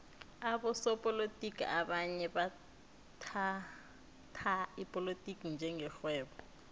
abosopolotiki abanye bathhatha ipolotiki njenge rhwebo